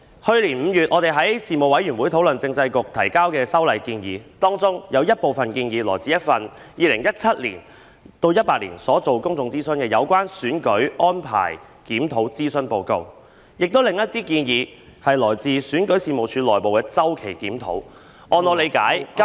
去年5月，我們在事務委員會討論政制及內地事務局提交的修例建議，當中有部分建議來自 2017-2018 年度進行的《有關選舉安排檢討的諮詢報告》，另一些建議則來自選舉事務處內部的周期檢討，據我理解......